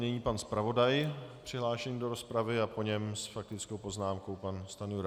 Nyní pan zpravodaj přihlášený do rozpravy a po něm s faktickou poznámkou pan Stanjura.